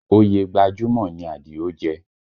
Oyè gbajúmọ̀ ni Àdìó jẹ